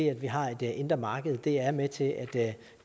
at vi har et indre marked er med til at